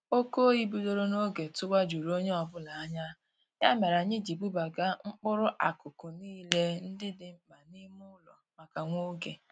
Oke oyi bidoro n'oge tụwa juru onye ọbụla anya, ya mere anyị ji bubaga mkpụrụ akụkụ niile ndị dị mkpa n'ime ụlọ maka nwa oge